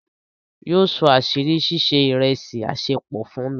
Yíọ só àṣírí sísẹ̀ ìrẹ̀sì àṣẹ̀pọ fún mi.